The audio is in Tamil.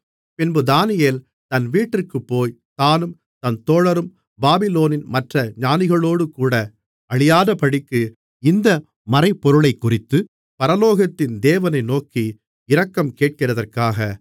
பின்பு தானியேல் தன் வீட்டிற்குப்போய் தானும் தன் தோழரும் பாபிலோனின் மற்ற ஞானிகளோடேகூட அழியாதபடிக்கு இந்த மறைபொருளைக்குறித்துப் பரலோகத்தின் தேவனை நோக்கி இரக்கம் கேட்கிறதற்காக